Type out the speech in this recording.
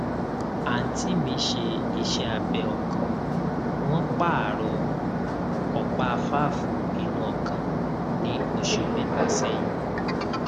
àǹtí mi ṣe iṣẹ abẹ ọkàn wọn pààrọ ọpá fáàfù inú ọkàn ní oṣù mẹta sẹyìn